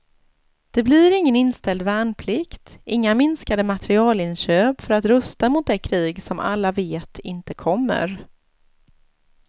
Det blir ingen inställd värnplikt, inga minskade materielinköp för att rusta mot det krig som alla vet inte kommer.